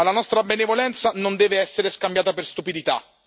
Ma la nostra benevolenza non deve essere scambiata per stupidità.